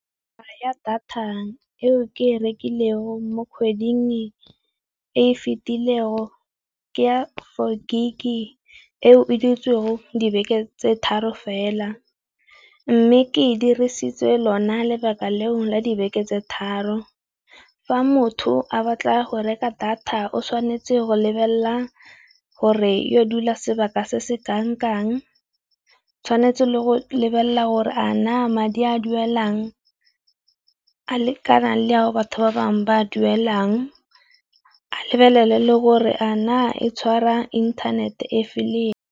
Data eo ke e rekileng mo kgweding e fitileng ke four Gig eo e dutseng dibeke tse tharo fela, mme ke dirisitse lona lebaka leo la dibeke tse tharo fa motho a batla go reka data o tshwanetse go lebelela gore yo dula sebaka se se kangkang, tshwanetse le go lebelela gore a na madi a duelwang a le kana le ao batho ba bangwe ba a duelang, a lebelele le gore a na e tshwara inthanete.